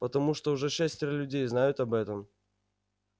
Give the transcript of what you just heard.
потому что уже шестеро людей знают об этом